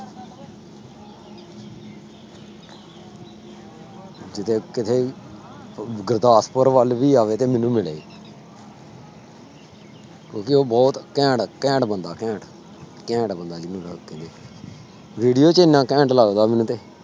ਕਿਤੇ ਕਿਤੇ ਗੁਰਦਾਸਪੁਰ ਵੱਲ ਵੀ ਆਵੇ ਤੇ ਮੈਨੂੰ ਮਿਲੇ ਕਿਉਂਕਿ ਉਹ ਬਹੁਤ ਘੈਂਟ ਘੈਂਟ ਬੰਦਾ ਘੈਂਟ ਘੈਂਟ ਬੰਦਾ ਜਿਹਨੂੰ ਸਭ ਕਹਿੰਦੇ video ਚ ਇੰਨਾ ਘੈਂਟ ਲੱਗਦਾ